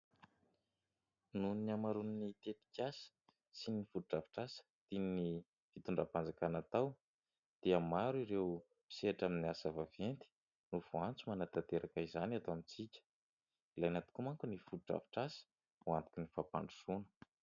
Nohon'ny amaroan'ny tetikasa sy ny foto-drafitr'asa tian'ny fitondram-panjakana atao dia maro ireo misehatra amin'ny asa vaventy no voantso manantanteraka izany eto amintsika. ilaina tokoa manko ny foto-drafitr'asa ho antoky ny fampandrosoana.